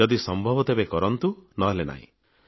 ଯଦି ସମ୍ଭବ ତେବେ କରନ୍ତୁ ନହେଲେ ନାହିଁ